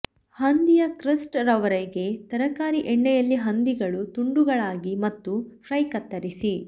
ಹಂದಿಯ crust ರವರೆಗೆ ತರಕಾರಿ ಎಣ್ಣೆಯಲ್ಲಿ ಹಂದಿಗಳು ತುಂಡುಗಳಾಗಿ ಮತ್ತು ಫ್ರೈ ಕತ್ತರಿಸಿ